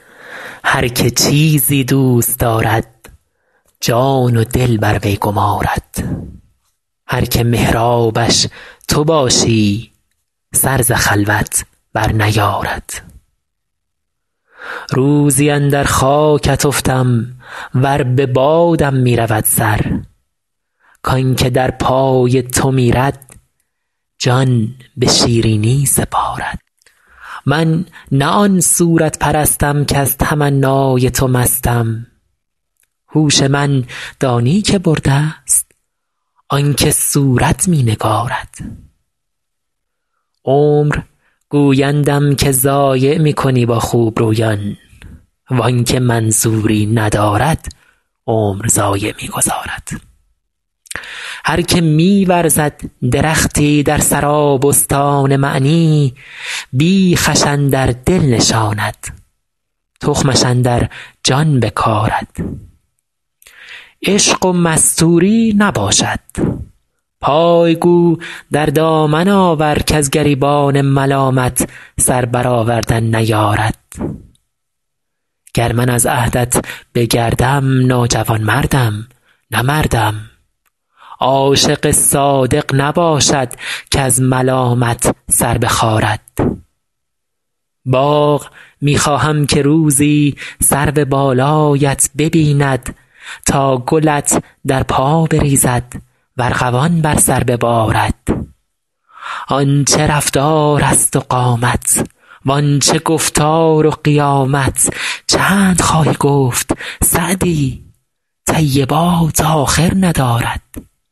هر که چیزی دوست دارد جان و دل بر وی گمارد هر که محرابش تو باشی سر ز خلوت برنیارد روزی اندر خاکت افتم ور به بادم می رود سر کان که در پای تو میرد جان به شیرینی سپارد من نه آن صورت پرستم کز تمنای تو مستم هوش من دانی که برده ست آن که صورت می نگارد عمر گویندم که ضایع می کنی با خوبرویان وان که منظوری ندارد عمر ضایع می گذارد هر که می ورزد درختی در سرابستان معنی بیخش اندر دل نشاند تخمش اندر جان بکارد عشق و مستوری نباشد پای گو در دامن آور کز گریبان ملامت سر برآوردن نیارد گر من از عهدت بگردم ناجوانمردم نه مردم عاشق صادق نباشد کز ملامت سر بخارد باغ می خواهم که روزی سرو بالایت ببیند تا گلت در پا بریزد و ارغوان بر سر ببارد آن چه رفتارست و قامت وان چه گفتار و قیامت چند خواهی گفت سعدی طیبات آخر ندارد